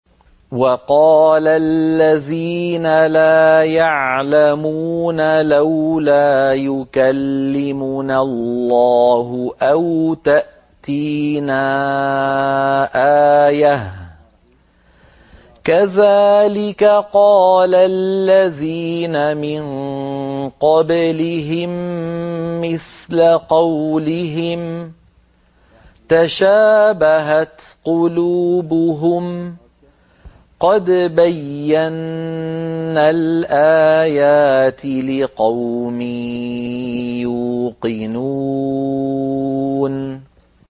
وَقَالَ الَّذِينَ لَا يَعْلَمُونَ لَوْلَا يُكَلِّمُنَا اللَّهُ أَوْ تَأْتِينَا آيَةٌ ۗ كَذَٰلِكَ قَالَ الَّذِينَ مِن قَبْلِهِم مِّثْلَ قَوْلِهِمْ ۘ تَشَابَهَتْ قُلُوبُهُمْ ۗ قَدْ بَيَّنَّا الْآيَاتِ لِقَوْمٍ يُوقِنُونَ